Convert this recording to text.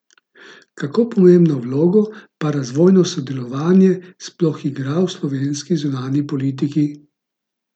Kako pomembno vlogo pa razvojno sodelovanje sploh igra v slovenski zunanji politiki?